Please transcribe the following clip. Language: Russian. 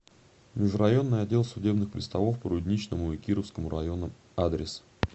межрайонный отдел судебных приставов по рудничному и кировскому районам адрес